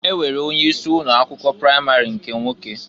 E nwere onye isi ụnọ akwụkwọ pramari nke nwoke.